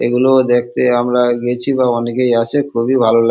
এগুলো দেখতে আমরা গেছি বা অনেকেই আছে খুবই ভালো লাগ--